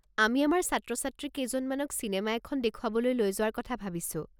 আমি আমাৰ ছাত্ৰ-ছাত্ৰী কেইজনমানক চিনেমা এখন দেখুৱাবলৈ লৈ যোৱাৰ কথা ভাবিছোঁ।